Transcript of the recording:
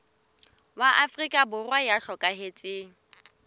wa afrika borwa ya hlokahetseng